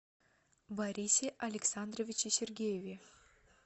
борисе александровиче сергееве